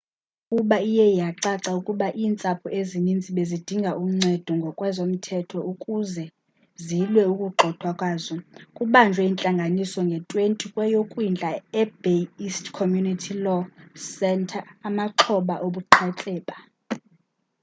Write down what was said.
emva kokuba iye yacaca ukuba iintsapho ezininzi bezidinga uncedo ngokwezomthetho ukuzwe zilwe ukugxothwa kwazo kubanjwe intlanganiso nge-20 kweyokwindla e-bay east community law centeryamaxhoba obuqhetseba